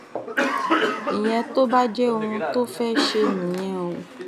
ìyẹn tó bá jẹ́ ohun tó fẹ́ẹ́ ṣe nìyẹn o